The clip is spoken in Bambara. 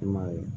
I m'a ye